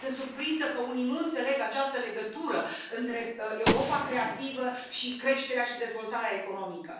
Sunt surprinsă că unii nu înțeleg această legătură între Europa creativă și creșterea și dezvoltarea economică.